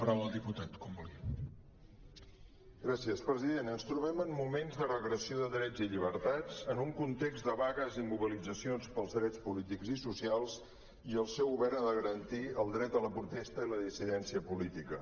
president ens trobem en moments de regressió de drets i llibertats en un context de vagues i mobilitzacions pels drets polítics i socials i el seu govern ha de garantir el dret a la protesta i la dissidència política